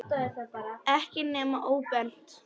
Ekki nema óbeint.